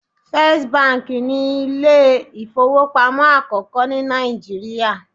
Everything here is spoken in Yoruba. First Bank' ni Ilé ìfowópamọ́ àkókó ní Nàìjíríà